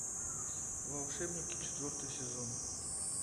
волшебники четвертый сезон